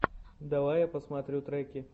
давай я посмотрю треки